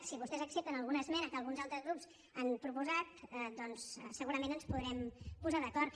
si vostès accepten alguna esmena que alguns altres grups han proposat doncs segurament ens podrem posar d’acord